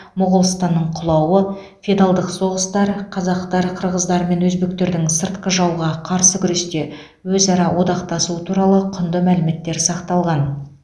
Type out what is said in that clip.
моғолстанның құлауы феодалдық соғыстар қазақтар қырғыздар мен өзбектердің сыртқы жауға қарсы күресте өзара одақтасуы туралы құнды мәліметтер сақталған